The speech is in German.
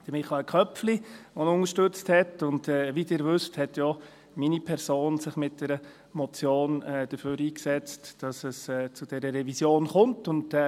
Michael Köpfli hat ihn unterstützt, und wie Sie wissen, hat sich auch meine Person mit einer Motion dafür eingesetzt, dass es zu dieser Revision gekommen ist.